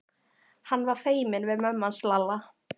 Hann var feiminn við mömmu hans Lalla.